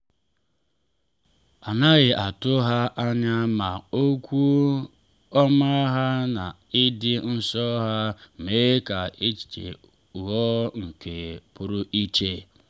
a naghị atụ ha anya ma okwu ọma ha na ịdị nso ha mee ka ehihie ghọọ nke pụrụ iche.